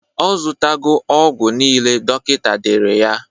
Ọ zụtago ọgwụ nile dọkịta dere ya.